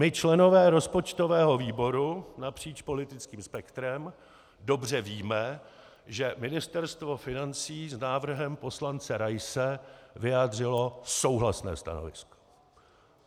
My členové rozpočtového výboru napříč politickým spektrem dobře víme, že Ministerstvo financí s návrhem poslance Raise vyjádřilo souhlasné stanovisko.